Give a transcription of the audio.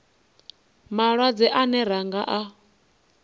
malwadze ane ra nga a